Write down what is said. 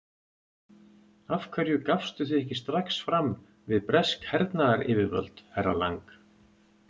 Af hverju gafstu þig ekki strax fram við bresk hernaðaryfirvöld, herra Lang?